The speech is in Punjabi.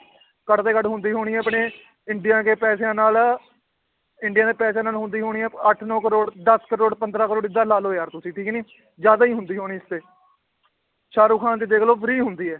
ਘੱਟ ਤੋਂ ਘੱਟ ਹੁੰਦੀ ਹੋਣੀ ਹੈ ਆਪਣੇ ਇੰਡੀਆ ਕੇ ਪੈਸਿਆਂ ਨਾਲ ਇੰਡੀਆ ਦੇ ਪੈਸਿਆਂ ਨਾਲ ਹੁੰਦੀ ਹੋਣੀ ਹੈ ਅੱਠ ਨੋਂ ਕਰੌੜ ਦਸ ਕਰੌੜ ਪੰਦਰਾਂ ਕਰੌੜ ਏਦਾਂ ਲਾ ਲਓ ਯਾਰ ਤੁਸੀਂ ਠੀਕ ਨੀ ਜ਼ਿਆਦਾ ਹੀ ਹੁੰਦੀ ਹੋਣੀ ਇਸ ਤੇ ਸਾਹਰੁਖਾਨ ਦੀ ਦੇਖ ਲਓ free ਹੁੰਦੀ ਹੈ l